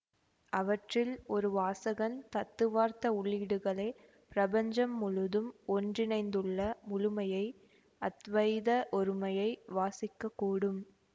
அவற்றில் ஒரு வாசகன் தத்துவார்த்த உள்ளீடுகளை பிரபஞ்சம் முழுதும் ஒன்றிணைந்துள்ள முழுமையை அத்வைத ஒருமையை வாசிக்கக் கூடும்